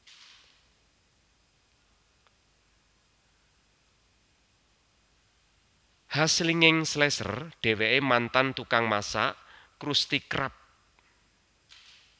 Hash Slinging Slasher Dheweke mantan tukang masak Krusty Krab